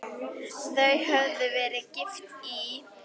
Þau höfðu verið gift í